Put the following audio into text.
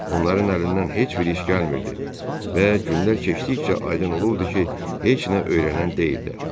Onların əlindən heç bir iş gəlmirdi və günlər keçdikcə aydın olurdu ki, heç nə öyrənən deyillər.